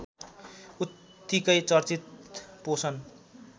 उत्तिकै चर्चित पोषण